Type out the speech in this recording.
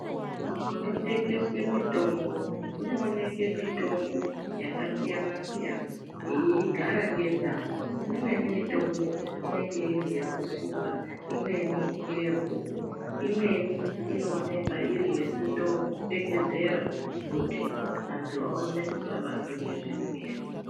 Munotengeswe mitombo munooneke mitombo yakasiyanasiyana yeigara ngendau imweni mitombo inenge iriyekusuka imweni ngeyekumwa imweni inooneka iri yekuto pfekedzera kuti antu aone kusabatwa ngezvirwere.